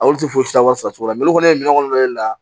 Olu tɛ foyi si wari sara cogo la mali kɔni ye minɛw nɔ ye